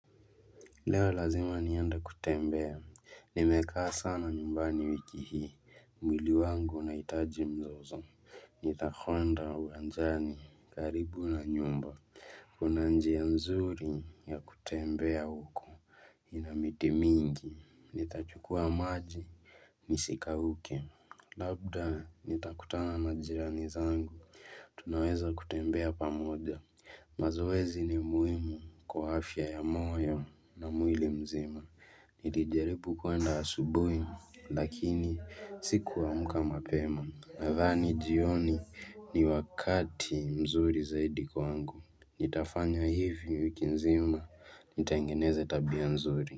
Leo lazima nienda kutembea, nimekaa sana nyumbani wiki hii, mwili wangu unahitaji mzozo, nitakwenda uwanjani karibu na nyumba, kuna njia nzuri ya kutembea huko. Ina miti mingi, nitachukua maji, nisikauke, labda nitakutana na jirani zangu, tunaweza kutembea pamoja, mazoezi ni muhimu kwa afya ya moyo na mwili mzima. Nilijaribu kwenda asubuhi lakini sikuamka mapema nadhani jioni ni wakati mzuri zaidi kwangu. Nitafanya hivi mwiki nzima nitengeneze tabia mzuri.